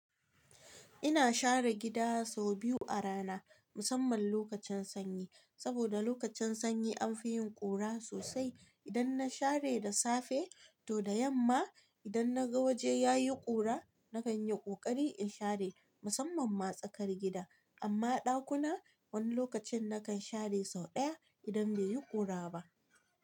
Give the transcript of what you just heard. Ina share gida sau biyu a rana musamman lokacin sanyi. Saboda lokacin sanyi an fi yin ƙura sosai. Idan na share da safe to da yamma idan naga waje yayi ƙura na kan yi ƙoƙari in share musamman ma tsakar gida. Amma ɗakuna wani lokacin na kan share sau ɗaya idan bai yi ƙura ba.